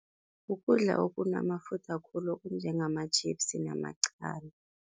Kukudla okunamafutha khulu okunjengengama-chips namaqanda.